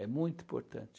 É muito importante.